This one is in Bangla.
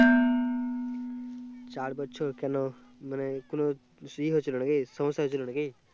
চার বছর কেন মানেই কোনো সমস্যা হয়েছিল নাকি